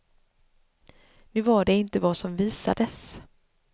Nu var det inte vad som visades.